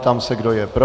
Ptám se, kdo je pro.